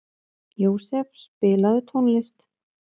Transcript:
Jósef, spilaðu tónlist.